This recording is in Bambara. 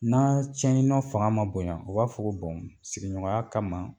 N'a tiɲɛni nɔ fanga ma bonya, u b'a fɔ bɔn sigiɲɔgɔnya kama